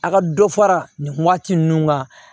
A ka dɔ fara nin waati ninnu kan